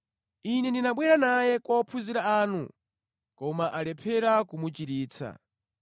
Ine ndinabwera naye kwa ophunzira anu koma alephera kumuchiritsa.”